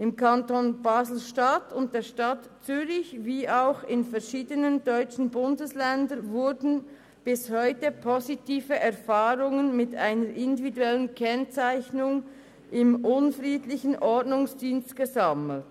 Im Kanton BaselStadt und der Stadt Zürich sowie auch in verschiedenen deutschen Bundesländern wurden bis heute positive Erfahrungen mit einer individuellen Kennzeichnung im unfriedlichen Ordnungsdienst gesammelt.